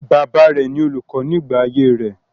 Bàbá rẹ ni olùkọ nígbà ayé rẹ̀.